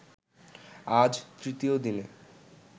আজ তৃতীয় দিনে